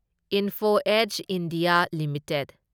Info Edge India limited